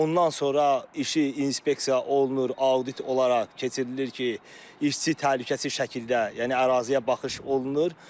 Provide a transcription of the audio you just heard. Ondan sonra işi inspeksiya olunur, audit olaraq keçirilir ki, işçi təhlükəsiz şəkildə, yəni əraziyə baxış olunur.